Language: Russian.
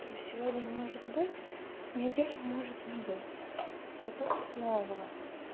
то есть сегодня может быть неделю может не быть потом снова